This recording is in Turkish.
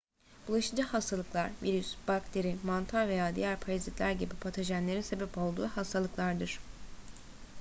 bulaşıcı hastalıklar virüs bakteri mantar veya diğer parazitler gibi patojenlerin sebep olduğu hastalıklardır